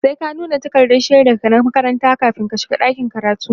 sai ka nuna takardan shaidan ka na makaranta kamin ka shiga dakin karatu